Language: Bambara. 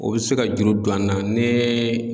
O be se ka juru don an na nee